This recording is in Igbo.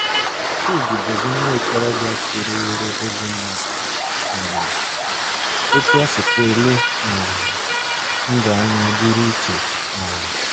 Chidi bụzi nwa okorobịa toruworo ogo mmadụ um, otú o sikwa ele um ndụ anya dịrị iche um.